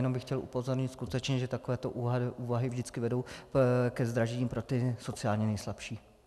Jenom bych chtěl upozornit skutečně, že takovéto úvahy vždycky vedou ke zdražení pro ty sociálně nejslabší.